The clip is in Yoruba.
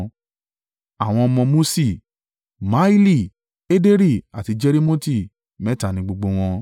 Àwọn ọmọ Muṣi: Mahili, Ederi àti Jerimoti mẹ́ta ni gbogbo wọn.